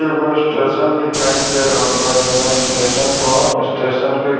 एगो स्टेशन दिखाई दे रहल बा जौन स्टेशन पर स्टेशन के